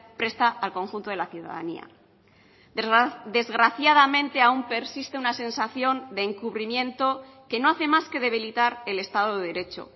presta al conjunto de la ciudadanía desgraciadamente aún persiste una sensación de encubrimiento que no hace más que debilitar el estado de derecho